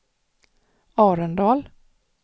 Arendal